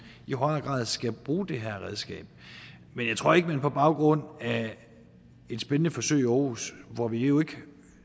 i højere grad skal bruge det her redskab men jeg tror ikke at man på baggrund af et spændende forsøg i aarhus hvor vi jo ikke